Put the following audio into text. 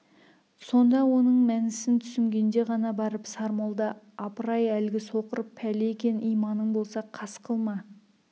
сонда оның мәнісін түсінгенде ғана барып сармолда апырай әлгі соқыр пәле екен иманың болса қас қылма